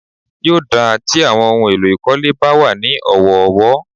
Yóò dáa tí àwọn ohun èlò ìkólé bá wà ní ọ̀wọ̀ọ̀wọ́.